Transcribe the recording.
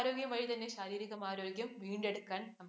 ആരോഗ്യമായി തന്നെ ശാരീരികാരോഗ്യം വീണ്ടെടുക്കാന്‍